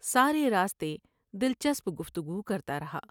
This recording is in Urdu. سارے راستے دل چسپ گفتگو کرتا رہا ۔